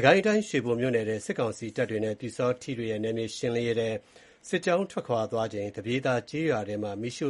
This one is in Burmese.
ကိုင်းတိုင်း ရွှေဘိုမြို့နယ်ထဲ စစ်ကောင်စီတပ်တွေနဲ့ ပျူစောထီးတွေရဲ့ နယ်မြေရှင်းလင်းရေးအတွင်း စစ်ကြောင်းထွက်သွားချိန် သပြေသာကျေးရွာထဲမှာ မီးရှ